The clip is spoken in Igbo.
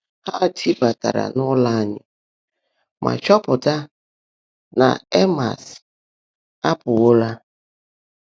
Há tị́báàtáárá n’ụ́lọ́ ányị́ mà chọ́pụtá ná Èmmás ápụ́ọ́wọ́lá.